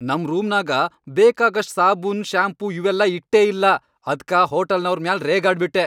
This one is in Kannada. ನಮ್ ರೂಮ್ನಾಗ ಬೇಕಾಗಷ್ಟ್ ಸಾಬೂನ್, ಶಾಂಪೂ ಇವೆಲ್ಲಾ ಇಟ್ಟೇ ಇಲ್ಲಾ, ಅದ್ಕ ಹೋಟಲ್ನವ್ರ್ ಮ್ಯಾಲ್ ರೇಗ್ಯಾಡ್ಬಿಟ್ಟೆ.